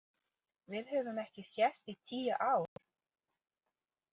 Við höfum ekki sést í tíu ár.